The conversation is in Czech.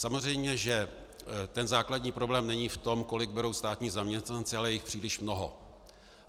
Samozřejmě že ten základní problém není v tom, kolik berou státní zaměstnanci, ale je jich příliš mnoho.